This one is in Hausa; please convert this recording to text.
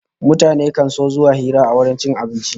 Mutane kan so zuwa hira a wajen cin abinci